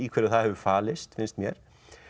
hverju það hefur falist finnst mér